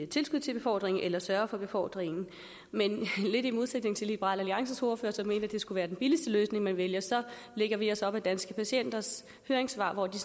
tilskud til befordring eller sørge for befordring men lidt i modsætning til liberal alliances ordfører som mente at det skulle være den billigste løsning man vælger så lægger vi os op ad danske patienters høringssvar hvor de